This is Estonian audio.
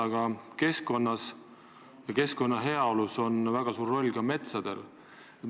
Aga keskkonna heaolus on väga suur roll ka metsadel.